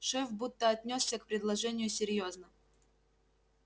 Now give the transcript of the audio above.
шеф будто отнёсся к предложению серьёзно